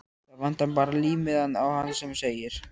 Það vantar bara límmiðann á hann sem segir